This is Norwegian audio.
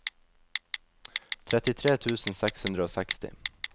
trettitre tusen seks hundre og seksti